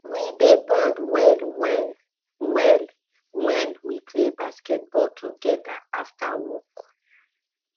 we dey bond well wen well wen we play football togeda after work